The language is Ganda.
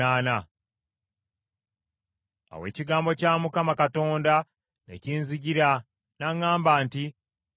Awo ekigambo kya Mukama Katonda ne kinzijira, n’aŋŋamba nti,